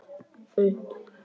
Upp á pilluna að gera.